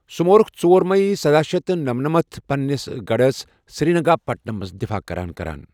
سوٗ مورُکھ ژور مئی سداہ شیتھ تہٕ نمَنمَت پننِس گڑھس سرینگا پٹمَس دِفاع کران كران ۔